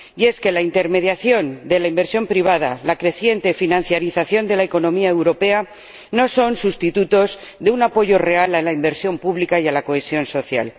Y es que la intermediación de la inversión privada, la creciente financialización de la economía europea no son sustitutos de un apoyo real a la inversión pública y a la cohesión social.